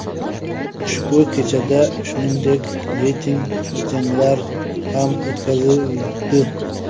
Ushbu kechada, shuningdek, reyting janglar ham o‘tkazildi.